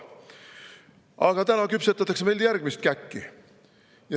Aga täna küpsetatakse järgmist käkki.